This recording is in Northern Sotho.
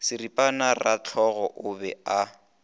seripana rahlogo o be a